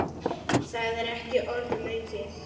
Það er ekki orðum aukið.